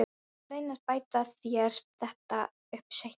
Ég skal reyna að bæta þér þetta upp seinna.